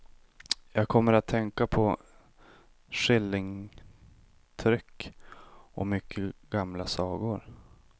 Jag kommer att tänka på skillingtryck och mycket gamla sagor.